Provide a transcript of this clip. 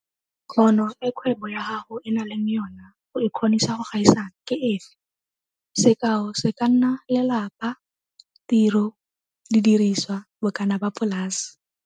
Kgono e kgwebo ya gago e nang le yona go e kgonisa go gaisana ke efe? Sekao se ka nna lelapa, tiro, didiriswa, bokana ba polase.